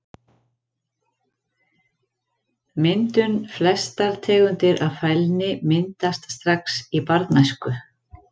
Myndun Flestar tegundir af fælni myndast strax í barnæsku.